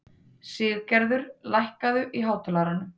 Siggerður, lækkaðu í hátalaranum.